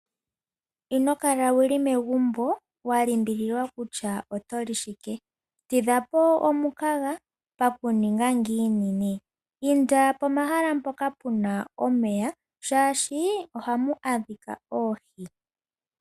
Inokala wuli megumbo walimbililwa kutya otoli shike. Tidha po omukaga, pakuninga ngiini nee? Inda pomahala mpoka puna omeya shaashi ohamu adhika oohi.